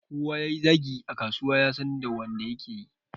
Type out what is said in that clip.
Kowa yayi zagi a kasuwa yasan da wanda yake.